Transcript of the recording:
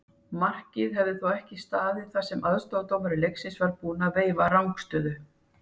Markið hefði þó ekki staðið þar sem aðstoðardómari leiksins var búinn að veifa rangstöðu.